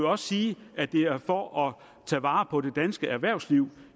også sige at det er for at tage vare på det danske erhvervsliv